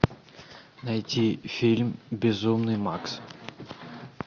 найти фильм безумный макс